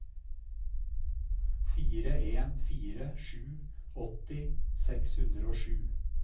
fire en fire sju åtti seks hundre og sju